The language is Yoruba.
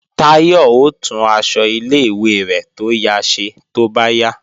Táyọ̀ ó tún aṣọ ilé-ìwé rẹ̀ tó ya ṣe tó bá yá